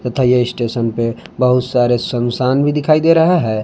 तथा ये स्टेशन पे बहुत सारे सुनसान भी दिखाई दे रहा है।